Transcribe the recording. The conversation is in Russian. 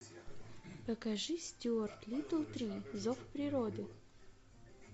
покажи стюарт литтл три зов природы